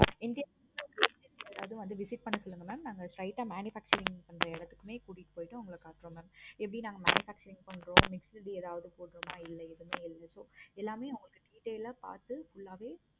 யாரவது வந்து visit பண்ண சொல்லுங்க mam நாங்க straight ஆஹ் manufacturing பண்ற இடத்துக்கயே கூட்டு போயிட்டு உங்களுக்கு காமிப்போம் mam எப்படி நாங்க manufacturing பன்றோம் ஏதாவது போடுறோமா இல்ல ஏதாவது எதுவுமே எல்லாமே நாங்க details ஆஹ் பார்த்து எல்லாமே